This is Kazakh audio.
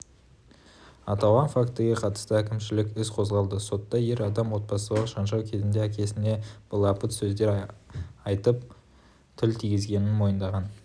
аталған фактіге қатысты әкімшілік іс қозғалды сотта ер адам отбасылық жанжал кезінде әкесіне былапыт сөздер айтып тіл тигізгенін мойындаған